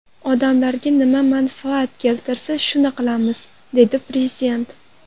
Odamlarga nima manfaat keltirsa, shuni qilamiz”, dedi Prezident.